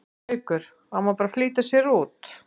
Haukur: Á maður bara að flýta sér út?